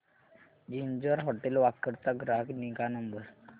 ginger hotel Wakad चा ग्राहक निगा नंबर